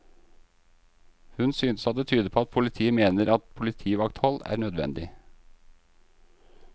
Hun synes at det tyder på at politiet mener at politivakthold er nødvendig.